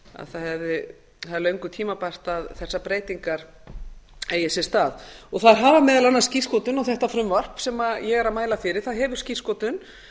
það er löngu tímabært að þessar breytingar eigi sér stað þær hafa meðal annars skírskotun á þetta frumvarp sem ég er að mæla fyrir það hefur skírskotun